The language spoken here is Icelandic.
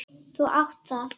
Þú átt það!